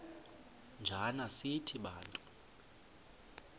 njana sithi bantu